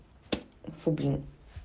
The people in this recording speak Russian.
фу блин